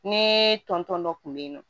Ni tɔn tɔn dɔ kun bɛ yen nɔ